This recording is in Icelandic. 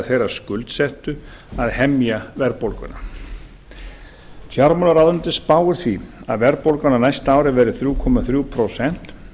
þeirra skuldsettu að hemja verðbólguna fjármálaráðuneytið spáir því að verðbólgan á næsta ári verði þrjú komma þrjú prósent